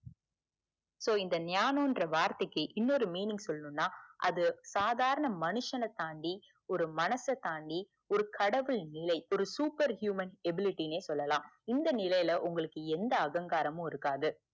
so ஞானம் என்ற வார்த்தைக்கு இன்னொரு meaning சொல்லனும்னா அது சாதாரண மனுசனதாண்டி ஒரு மனச தாண்டி ஒரு கடவுள் நிலை ஒர super human eblity னே சொல்லலாம் இந்த நிலைல எந்த அகங்காரமும் இருக்காது